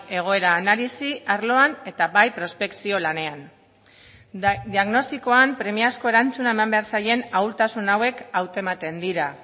egoera analisi arloan eta bai prospekzio lanean diagnostikoan premiazko erantzuna eman behar zaien ahultasun hauek hautematen dira